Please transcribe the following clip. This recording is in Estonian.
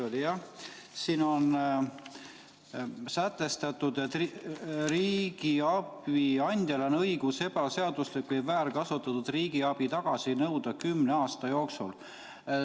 Selles eelnõus on sätestatud, et: „Riigiabi andjal on õigus ebaseaduslik või väärkasutatud riigiabi tagasi nõuda kümne aasta jooksul.